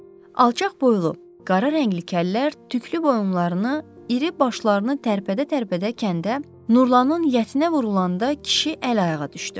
Alçaq boylu, qara rəngli kəllər tüklü boyunlarını, iri başlarını tərpədə-tərpədə kəndə, Nurlanın yətinə vurulanda kişi əl-ayağa düşdü.